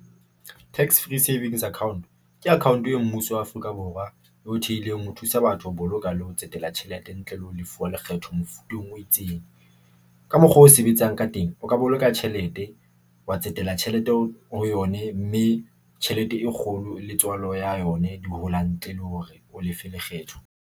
Tax Free Savings Account ke account yeo Mmuso wa Afrika Borwa e ho thehileng ho thusa batho, ho boloka le ho tsetela tjhelete, ntle le ho lefa lekgetho mofuteng o itseng. Ka mokgwa o sebetsang ka teng, o ka boloka tjhelete, wa tsetela tjhelete ho yone, mme tjhelete e kgolo le tswalo ya yone di hola ntle le hore o lefe lekgetho.